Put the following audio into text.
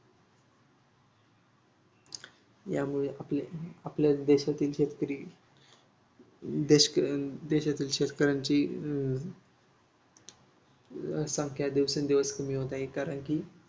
यामुळे आपली आपली देशातील शेतकरी देश देशातील शेतकऱ्यांच्यी अं संख्या दिवसेंदिवस कमी होत आहे. कारण की